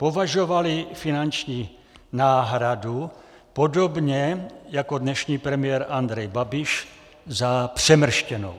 Považovali finanční náhradu, podobně jako dnešní premiér Andrej Babiš, za přemrštěnou.